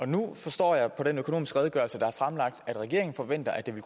nu forstår jeg på økonomisk redegørelse der er fremlagt at regeringen forventer at de vil